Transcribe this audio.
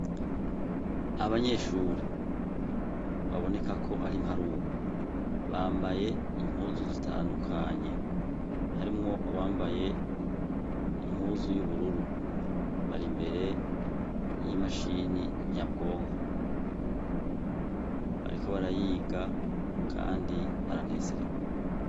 Abanyeshure babonekako kwarimparurwa bambaye impuzu zitandukanye harimwo uwambaye impuzu yubururu bari imbere yimashini nyabwonko bariko barayiga kandi baranezerewe